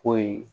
Ko ye